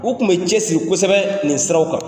U kun bɛ cɛ siri kosɛbɛ nin siraw kan.